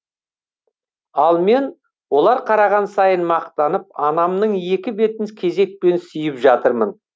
ал мен олар қараған сайын мақтанып анамның екі бетін кезекпен сүйіп жатырмын